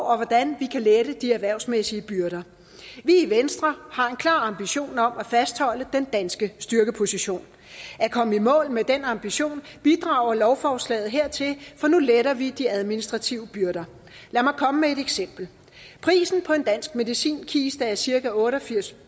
og hvordan vi kan lette de erhvervsmæssige byrder vi i venstre har en klar ambition om at fastholde den danske styrkeposition at komme i mål med den ambition bidrager lovforslaget her til for nu letter vi de administrative byrder lad mig komme med et eksempel prisen på en dansk medicinkiste er cirka otteogfirstusind